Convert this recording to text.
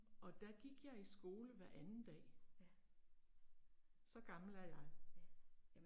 Og der gik jeg i skole hver anden dag. Så gammel er jeg